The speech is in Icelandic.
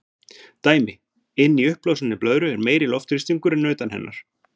Dæmi: Inni í uppblásinni blöðru er meiri loftþrýstingur en utan hennar.